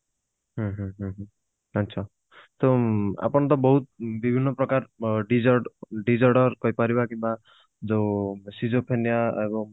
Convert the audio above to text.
ହୁଁ ହୁଁ ହୁଁ ହୁଁ ଆଛା ତ ଆପଣ ତ ବହୁତ ବିଭିନ୍ନ ପ୍ରକାର ଅ dis disorder କହି ପାରିବା କିମ୍ବା ଯୋଉ